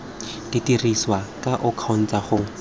dirisiwa ka o kgontsha go